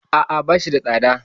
A'a, ba shi da tsada.